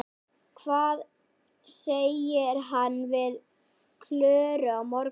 Hvað segir hann við Klöru á morgun?